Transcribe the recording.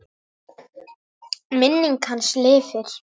Minning hans lifir.